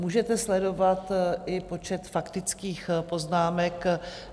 Můžete sledovat i počet faktických poznámek.